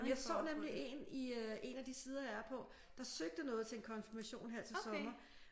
Jeg så nemlig en i øh en af de sider jeg er på der søgte noget til en konfirmation her til sommer